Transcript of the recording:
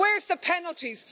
Where's the penalties?